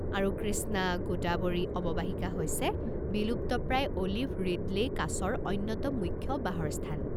আৰু কৃষ্ণা-গোদাৱৰী অৱবাহিকা হৈছে বিলুপ্তপ্ৰায় অ'লিভ ৰিডলে' কাছৰ অন্যতম মুখ্য বাহৰ স্থান।